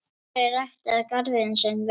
Þórir ræktaði garðinn sinn vel.